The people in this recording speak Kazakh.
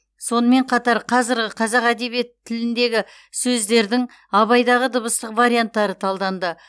сонымен қатар қазіргі қазақ әдебиет тіліндегі сөздердің абайдағы дыбыстық варианттары талданды